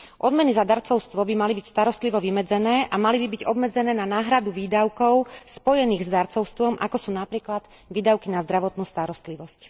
Odmeny za darcovstvo by mali byť starostlivo vymedzené a mali by byť obmedzené na náhradu výdavkov spojených s darcovstvom, ako sú napríklad výdavky na zdravotnú starostlivosť.